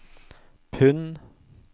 pund